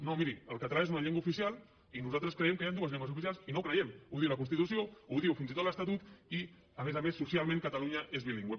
no miri el català és una llengua oficial i nosaltres creiem que hi ha dues llengües oficials i no ho creiem ho diu la constitució ho diu fins i tot l’estatut i a més a més socialment catalunya és bilingüe